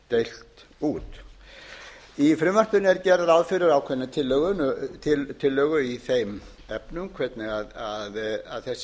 deilt út í frumvarpinu er gert ráð fyrir ákveðnum tillögum í þeim efnum hvernig þessi skipting